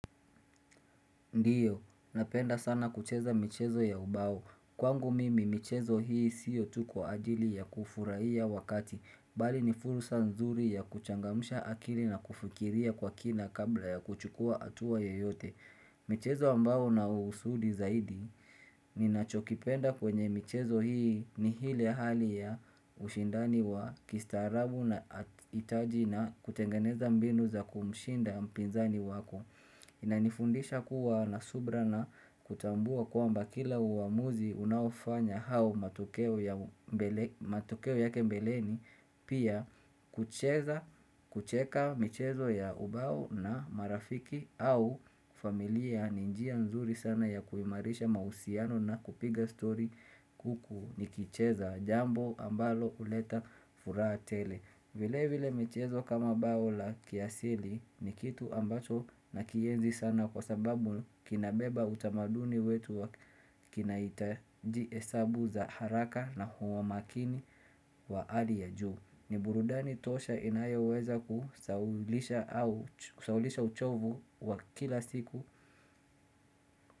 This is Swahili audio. Ndio, napenda sana kucheza michezo ya ubao. Kwangu mimi, michezo hii sio tu kwa ajili ya kufurahia wakati, bali ni fursa nzuri ya kuchangamsha akili na kufikiria kwa kina kabla ya kuchukua hatua yoyote. Michezo ambayo una usudi zaidi ninachokipenda kwenye michezo hii ni ile hali ya ushindani wa kistaarabu na taji na kutengeneza mbinu za kumshinda mpinzani wako. Inanifundisha kuwa na subira na kutambua kwamba kila uamuzi unaofanya au matokeo yake mbeleni pia kucheza, kucheka michezo ya ubao na marafiki au familia ni njia nzuri sana ya kuimarisha mahusiano na kupiga story huku nikicheza jambo ambalo huleta furaha tele. Vilevile michezo kama bao la kiasili ni kitu ambacho nakienzi sana kwa sababu kinabeba utamaduni wetu wa kinahitaji hesabu za haraka na huwa makini wa hali ya juu. Ni burudani tosha inayoweza kusahaulisha uchovu wa kila siku.